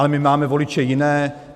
Ale my máme voliče jiné.